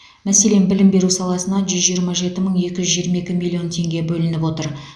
мәселен білім беру саласына жүз жиырма жеті мың екі жүз жиырма екі миллион теңге бөлініп отыр